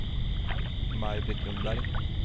Maj-Britt Ljungberg